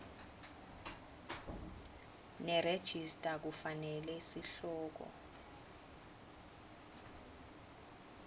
nerejista kufanele sihloko